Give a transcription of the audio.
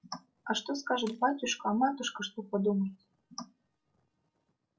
а что скажет батюшка а матушка что подумает